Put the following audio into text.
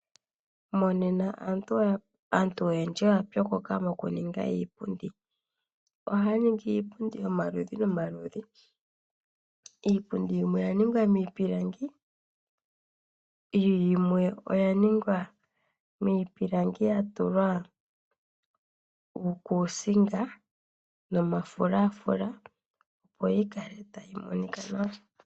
Monena aantu oyendji oya pyokoka mokuninga iipundi. Ohaya ningi iipundi yomaludhi nomaludhi. Iipundi yimwe oya ningwa miipilangi yimwe oya ningwa miipilangi ya tulwa uukuusinga nomafulafula opo yi kale tayi monika nawa.